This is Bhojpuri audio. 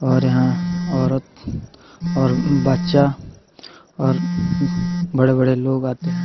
और यहाँ औरत और बच्चा और बड़े-बड़े लोग आते हैं।